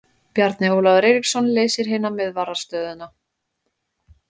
Bjarni Ólafur Eiríksson leysir hina miðvarðarstöðuna.